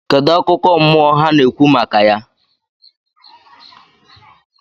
Kedu akụkọ mmụọ ha na-ekwu maka ya?